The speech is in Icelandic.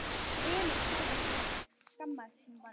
Emil sagði ekki neitt, skammaðist sín bara.